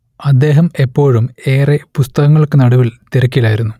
അദ്ദേഹം എപ്പോഴും ഏറെ പുസ്തകങ്ങൾക്കുനടുവിൽ തിരക്കിലായിരുന്നു